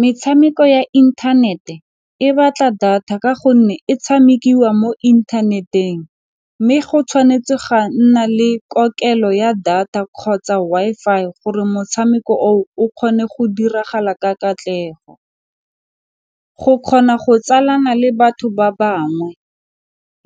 Metshameko ya inthanete e batla data ka gonne e tshamekiwa mo inthaneteng mme go tshwanetse ga nna le kokelo ya data kgotsa Wi-Fi gore motshameko oo o kgone go diragala ka katlego, go kgona go tsamaisana le batho ba bangwe